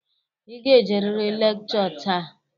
Ị ga-ejeriri lekchọ taa.